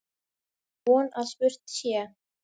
Og von að spurt sé.